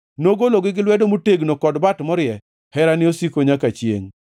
nogologi gi lwedo motegno kod bat morie; Herane osiko nyaka chiengʼ.